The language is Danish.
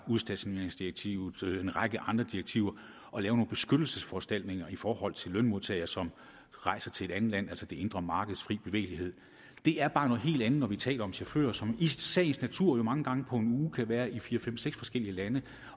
udstationeringsdirektivet eller en række andre direktiver at lave nogle beskyttelsesforanstaltninger i forhold til lønmodtagere som rejser til et andet land altså det indre markeds fri bevægelighed det er bare noget helt andet når vi taler om chauffører som i sagens natur jo mange gange på en uge kan være i fire fem seks forskellige lande